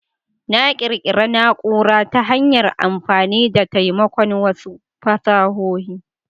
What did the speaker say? Na ƙirƙira na'ura ta hanyar amfani da taimakon wasu fasahohi.